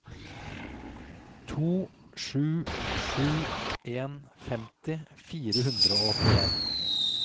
to sju sju en femti fire hundre og åttien